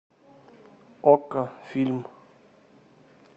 окко фильм